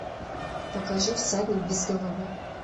покажи всадник без головы